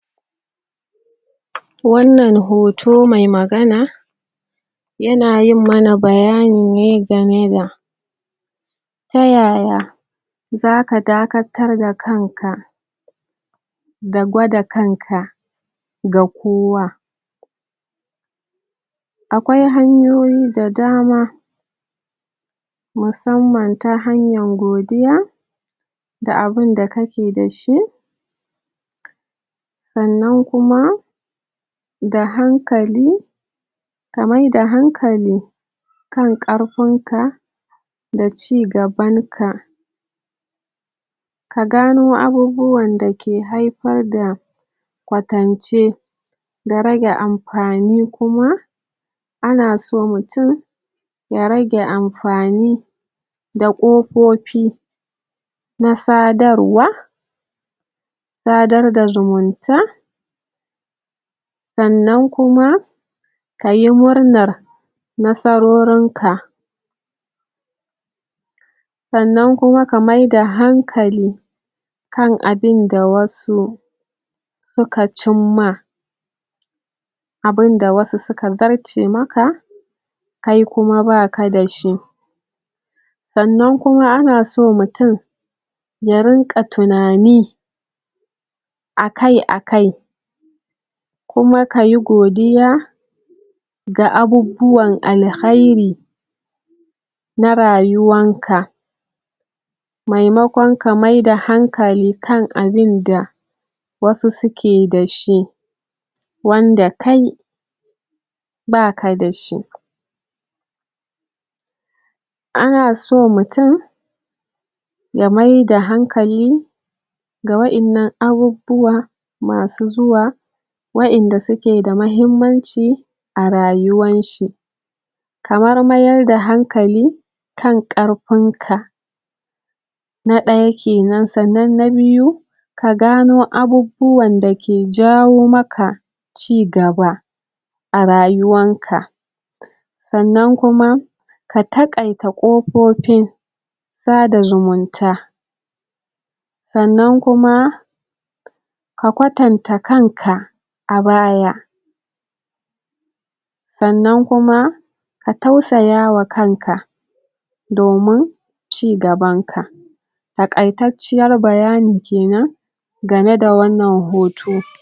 Wannan hoto mai magana yana yin mana bayani ne game da ta yaya za ka dakatar da kanka da gwada kanka ga kowa Akwai hanyoyi da dama musamman ta hanyar godiya da abin da kake da shi sannan kuma da hankali ka mayar da hankali kan ƙarfinka da ci gabanka. Ka gano abubuwan da ke haifar da kwatance da rage amfani kuma ana so mutum ya rage amfani da ƙofofi na sadarwa sadar da zumunta sannan kuma ka yi murnar nasarorinka. Sannan kuma ka mayar da hankali kan abin da wasu suka cimma abin da wasu suka zarce maka kai kuma ba ka da shi Sannan kuma ana so mutum ya rinƙa tunani a kai a kai kuma ka yi godiya ga abubuwan alheri na rayuwarka maimakon ka mayar da hankali kan abin da wasu suke da shi wanda kai ba ka da shi. Ana so mutum ya mayar da hankali ga waɗannan abubuwan wasu zuwa waɗanda suke da muhimmanci a rayuwarshi kamar mayar da hankali kan ƙarfinka Na ɗaya ke nan. Sannan na biyu, ka gano abubuwan da ke jawo maka cigaba a rayuwarka. Sannan kuma ka taƙaita ƙofofin sada zumunta sannan kuma ka kwatanta kanka a baya. Sannan kuma ka tausaya wa kanka domin cigabanka Taƙaitacciyar bayani ke nan game da wannan hoto.